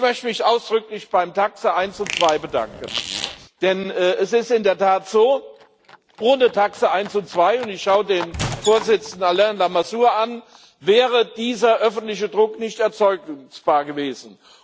Ich möchte mich ausdrücklich beim TAXE 1 und 2 bedanken, denn es ist in der Tat so, ohne TAXE 1 und 2 und ich schau den Vorsitzenden Alain Lamassoure an wäre dieser öffentliche Druck nicht erzeugbar gewesen.